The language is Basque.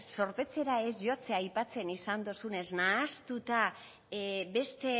zorpetzera ez jotzea aipatzean izan duzunez nahastuta beste